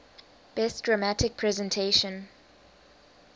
best dramatic presentation